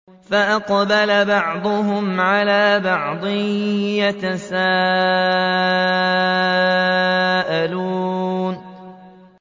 فَأَقْبَلَ بَعْضُهُمْ عَلَىٰ بَعْضٍ يَتَسَاءَلُونَ